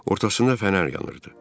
Ortasında fənər yanırdı.